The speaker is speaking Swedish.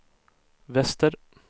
väster